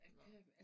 Nåh